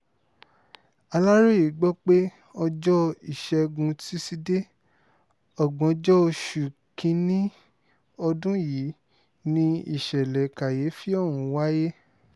aláròye gbọ́ pé ọjọ́ ìṣègùn túṣìdéé ògbóǹjọ oṣù kín-ín-ní ọdún yìí ni ìṣẹ̀lẹ̀ kàyééfì ọ̀hún wáyé